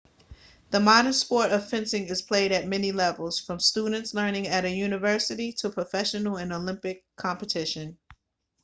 the modern sport of fencing is played at many levels from students learning at a university to professional and olympic competition